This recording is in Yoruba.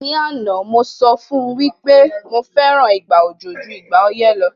Ní àná, mo sọ fún wí pé mo fẹ́ràn ìgbà òjò ju ìgbà ọyẹ́ lo